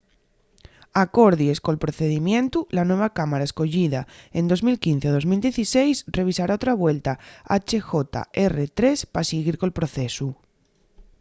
acordies col procedimientu la nueva cámara escoyida en 2015 ó 2016 revisará otra vuelta hjr-3 pa siguir col procesu